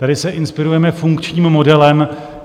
Tady se inspirujeme funkčním modelem.